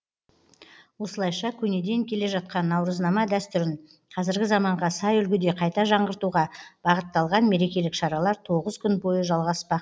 осылайша көнеден келе жатқан наурызнама дәстүрін қазіргі заманға сай үлгіде қайта жаңғыртуға бағытталған мерекелік шаралар тоғыз күн бойы жалғаспақ